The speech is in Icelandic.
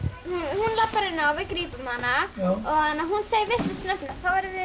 hún labbar inn og við grípum hana og hún segir vitlausa setningu þá verðum við